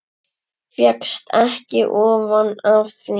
Fékkst ekki ofan af því.